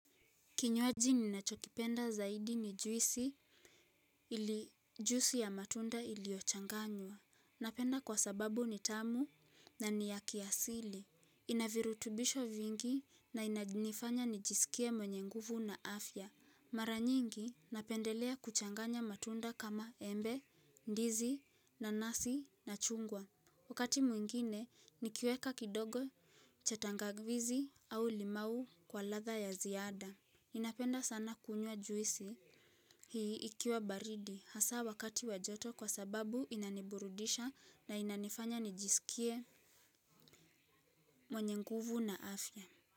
Kinywaji ninachokipenda zaidi ni juisi ili juisi ya matunda iliochanganywa. Napenda kwa sababu ni tamu na ni ya kiasili. Ina virutubisho vingi na inajinifanya nijisikie mwenye nguvu na afya. Mara nyingi napendelea kuchanganya matunda kama embe, ndizi, nanasi, na chungwa. Wakati mwingine, nikiweka kidogo cha tangawizi au limau kwa ladha ya ziada. Inapenda sana kunyuw juisi hii ikiwa baridi hasa wakati wa joto kwa sababu inaniburudisha na inanifanya nijisikie mwenye nguvu na afya.